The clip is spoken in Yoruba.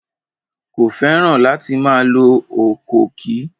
Kò fẹ́ràn láti máa lo ọ̀kọ̀ọ̀kì.